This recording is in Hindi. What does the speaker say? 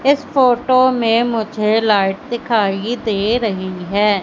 इस फोटो में मुझे लाइट दिखाइ दे रही है।